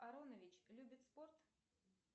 аронович любит спорт